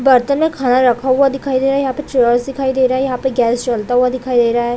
बर्तने मे खाना रखा हुआ दिखाई दे रहा है यहाँ पे चेयर्स दिखाई दे रहे है यहाँ पे गैस जलता हुआ दिखाई दे रहा है।